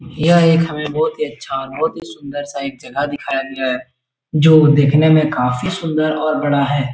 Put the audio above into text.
यह एक हमें बहोत ही अच्छा और बहोत ही सुन्दर सा एक जगह दिखाया गया है। जो देखने में काफी सुंदर और बड़ा है।